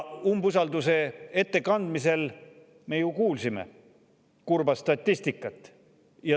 Umbusalduse ettekandmisel me ju kuulsime kurba statistikat.